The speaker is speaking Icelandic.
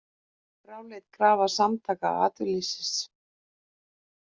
Fráleit krafa Samtaka atvinnulífsins